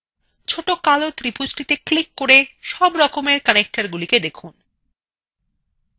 ছোট কালো ত্রিভুজটিতে click করে সব রকমের connectors গুলি দেখুন